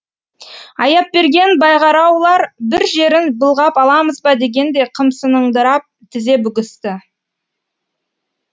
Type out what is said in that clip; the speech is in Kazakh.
аяпберген байғараулар бір жерін былғап аламыз ба дегендей қымсыныңдырап тізе бүгісті